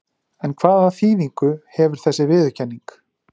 En hvaða þýðingu hefur þessi viðurkenning?